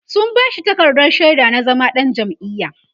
sun bashi takardar shaida na zama ɗan jam'iya